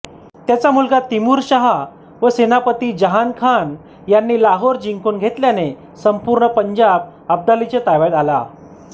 त्याचा मुलगा तिमूरशहा व सेनापती जहानखान यांनी लाहोर जिंकून घेतल्याने संपूर्ण पंजाब अब्दालीच्या ताब्यात आला